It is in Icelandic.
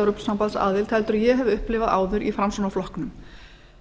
evrópusambandsaðild heldur en ég hef upplifað áður í framsóknarflokknum